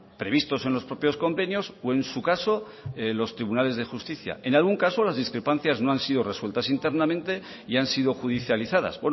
previstos en los propios convenios o en su caso en los tribunales de justicia en algún caso las discrepancias no han sido resueltas internamente y han sido judicializadas